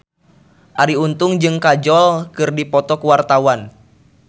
Arie Untung jeung Kajol keur dipoto ku wartawan